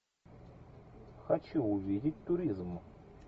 хочу увидеть туризм